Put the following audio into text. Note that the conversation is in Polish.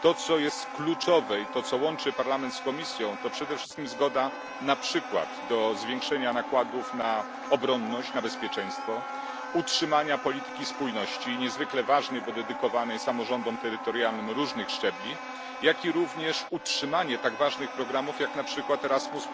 To, co jest kluczowe i co łączy Parlament z Komisją, to przede wszystkim zgoda, na przykład, na zwiększenie nakładów na obronność, na bezpieczeństwo utrzymania polityki spójności polityki niezwykle ważnej, bo obejmującej samorządy terytorialne różnych szczebli, jak również na utrzymanie tak ważnych programów jak Erasmus.